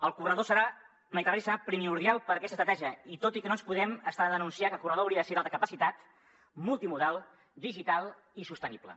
el corredor mediterrani serà primordial per a aquesta estratègia tot i que no ens podem estar de denunciar que el corredor hauria de ser d’alta capacitat multimodal digital i sostenible